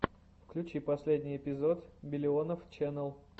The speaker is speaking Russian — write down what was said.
включи последний эпизод биллионов ченел